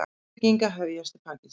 Uppbygging að hefjast í Pakistan